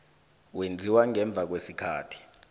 wenziwa ngemva kwesikhathi